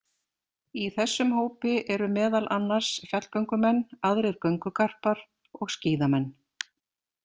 Í þessum hópi eru meðal annars fjallgöngumenn, aðrir göngugarpar og skíðamenn.